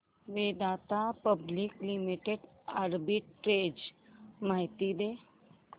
Vedanta public limited arbitrage माहिती दे